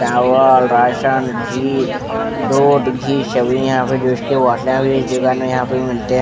चावल राशन घी दूध घी सभी यहाँ पे जूस के बोटले भी इस दुकान में यहाँ पे मिलते हैं।